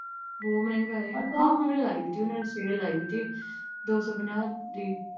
ਬਹੁਤ ਮਹਿੰਗਾ ਏ, ਆਹ ਹੁਣ ਲਾਈ ਵੀ ਤੀ ਉਨ੍ਹਾਂ ਨੇ ਸੇਲ ਲਾਈ ਵੀ ਤੀ ਦੋ ਸੌ ਪੰਜਾਹ ਦੀ।